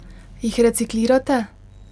Jih reciklirate?